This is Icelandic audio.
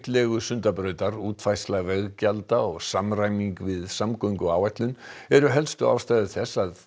legu Sundabrautar útfærsla veggjalda og samræming við samgönguáætlun eru helstu ástæður þess að